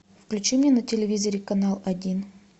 включи мне на телевизоре канал один